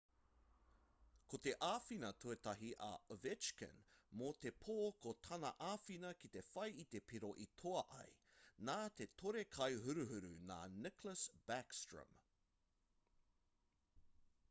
ko te āwhina tuatahi a ovechkin mō te pō ko tana āwhina ki te whai i te piro i toa ai nā te tore-kai-huruhuru nā nicklas backstrom